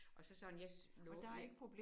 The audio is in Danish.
Og så sådan jeg lovede jeg